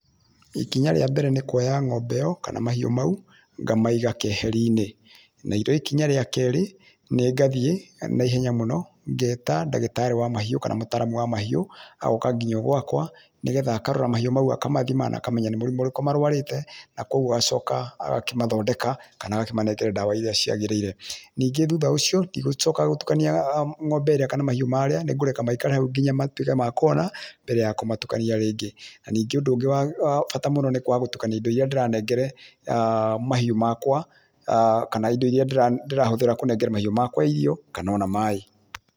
Ikinya rĩa mbere nĩ kuoya ng'ombe ĩyo kana mahiũ mau ngamaiga keheri-inĩ, narĩo ikinya rĩa kerĩ nĩ ngathiĩ naihenya mũno ngeta ndagĩtarĩ wa mahiũ kana mũtaramu wa mahiũ agoka nginya gwaka nĩgetha akarora mahiũ mau akamathima na akamena nĩ mũrimũ ũrĩkũ marwarĩte na koguo agacoka agakĩmathondeka kana agakĩmanengera ndawa iria ciagĩrĩire. Ningĩ thutha ũcio ndigũcoka gũtukania ngo'mbe ĩrĩa kana mahiũ marĩa nĩngũreka maikare hau nginya matũĩke ma kuhona mbere ya kũmatukania rĩngĩ. Na ningĩ ũndũ ũngĩ wa bata mũno nĩ kwaga gũtukania indo iria ndĩrahengere mahiũ makwa kana indo iria ndĩrahũthira kũnengera mahiũ makwa irio kana ona maaĩ.